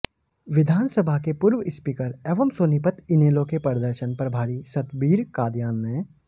विधानसभा के पूर्व स्पीकर एवं सोनीपत इनेलो के प्रदर्शन प्रभारी सतबीर कादयान ने